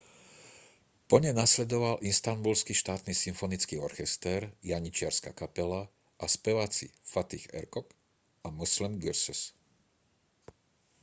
po nej nasledoval istanbulský štátny symfonický orchester janičiarska kapela a speváci fatih erkoç a müslüm gürses